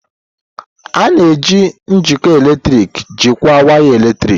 A na-eji njikọ eletrik jikọọ waya eletrik.